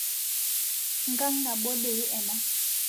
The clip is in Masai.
Nkang nabo dei ana